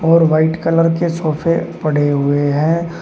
और white colour के सोफे पड़े हुए हैं।